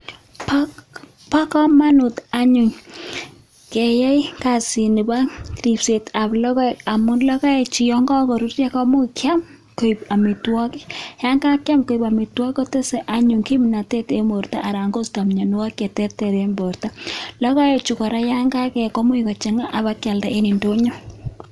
Bo komonut anyun keyaai kasini bo ripsetab logoek, amun logoechu yon kakoruryoo komuch kiam koik amitwogiik. Yon kakiam koik amitwogiik kotese anyun kimnotet en bortoo anan koistoo mianwogiik cheterter en bortoo. Logoechu kora yon kakebut komuch kochangaa ak bak kildaa en indonyoo.